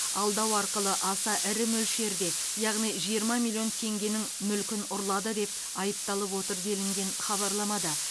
алдау арқылы аса ірі мөлшерде яғни жиырма миллион теңгенің мүлкін ұрлады деп айыпталып отыр делінген хабарламада